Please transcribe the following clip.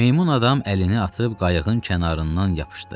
Meymun adam əlini atıb qayıqın kənarından yapışdı.